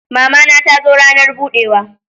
Mama na ta zo ranar budewa